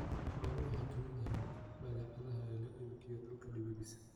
Xooluhu waxay ka mid yihiin badeecadaha loo iibgeeyo dalka dibadiisa.